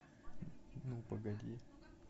ну погоди